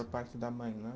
parte da mãe, né?